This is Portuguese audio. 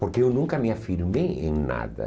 Porque eu nunca me afirmei em nada.